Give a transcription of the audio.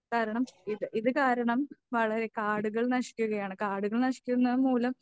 കാരണം ഇത് ഇത് കാരണം വളരെ കാടുകൾ നശിക്കുകയാണ്. കാടുകൾ നശിക്കുന്നതു മൂലം